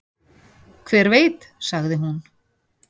"""Hver veit, sagði hún."""